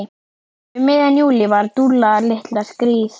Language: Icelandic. Um miðjan júlí var Dúlla litla skírð.